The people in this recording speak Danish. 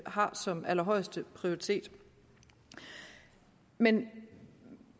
har som allerhøjeste prioritet men